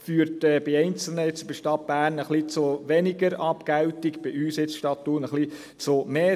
Dies führt bei Einzelnen, wie der Stadt Bern, zu etwas weniger Abgeltung, bei uns, der Stadt Thun, zu mehr.